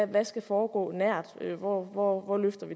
der skal foregå nært og hvor